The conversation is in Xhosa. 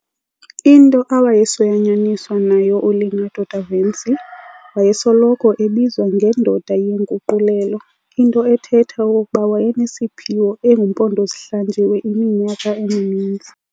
Into awayesoyanyaniswa nayo uLeonardo da Vinci, wayesoloko ebizwa nge"ndoda yenguqulelo" into ethetha okokuba wayenesiphiwo engumpondozihlanjiwe iminyaka emininzi.